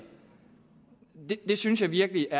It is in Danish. jeg synes virkelig at